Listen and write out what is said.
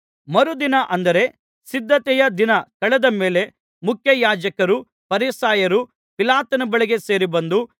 ಮರುದಿನ ಅಂದರೆ ಸಿದ್ಧತೆಯ ದಿನ ಕಳೆದ ಮೇಲೆ ಮುಖ್ಯಯಾಜಕರೂ ಫರಿಸಾಯರೂ ಪಿಲಾತನ ಬಳಿಗೆ ಸೇರಿಬಂದು